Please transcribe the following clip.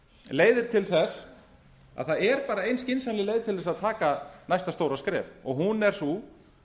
leiðir til þess að það er bara ein skynsamleg leið til að taka næsta stóra skref og hún er sú